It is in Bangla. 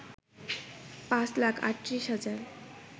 পাঁচ লাখ ৩৮ হাজার